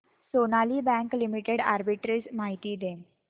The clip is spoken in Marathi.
सोनाली बँक लिमिटेड आर्बिट्रेज माहिती दे